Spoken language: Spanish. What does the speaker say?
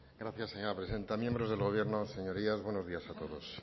gracias señora presidenta miembros del gobierno señorías buenos días a todos